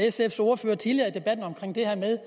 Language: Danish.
sfs ordfører tidligere i debatten om det her med